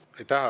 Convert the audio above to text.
Aitäh!